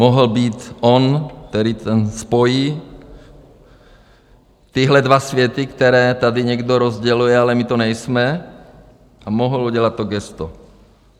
Mohl být on, který to spojí, tyhle dva světy, které tady někdo rozděluje, ale my to nejsme, a mohl udělat to gesto.